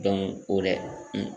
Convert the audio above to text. o dɛ